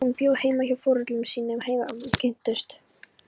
Hún bjó heima hjá foreldrum sínum þegar við kynntumst.